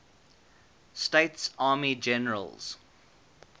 states army generals